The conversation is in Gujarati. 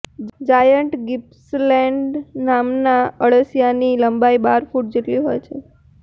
જાયન્ટ ગિપ્પસલેન્ડ નામના અળસિયાની લંબાઈ બાર ફૂટ જેટલી હોય છે